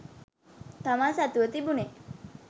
තමන් සතුව තිබුනේ